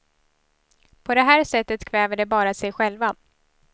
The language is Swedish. På det här sättet kväver de bara sig själva.